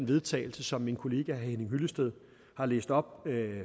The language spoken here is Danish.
vedtagelse som min kollega herre henning hyllested har læst op